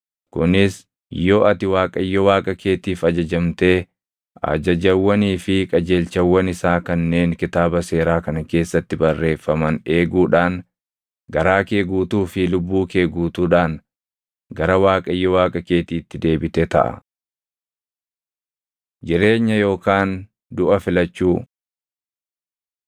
kunis yoo ati Waaqayyo Waaqa keetiif ajajamtee ajajawwanii fi qajeelchawwan isaa kanneen Kitaaba Seeraa kana keessatti barreeffaman eeguudhaan garaa kee guutuu fi lubbuu kee guutuudhaan gara Waaqayyo Waaqa keetiitti deebite taʼa. Jireenya Yookaan Duʼa Filachuu